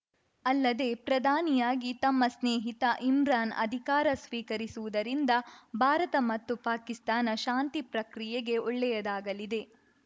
ಅಲ್ಲದೇ ಪ್ರಧಾನಿಯಾಗಿ ತಮ್ಮ ಸ್ನೇಹಿತ ಇಮ್ರಾನ್‌ ಅಧಿಕಾರ ಸ್ವೀಕರಿಸಿರುವುದರಿಂದ ಭಾರತ ಮತ್ತು ಪಾಕಿಸ್ತಾನ ಶಾಂತಿ ಪ್ರಕ್ರಿಯೆಗೆ ಒಳ್ಳೆಯದಾಗಲಿದೆ